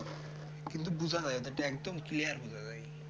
কিন্তু বোঝা যায় ওটা একদম clear বোঝা যায়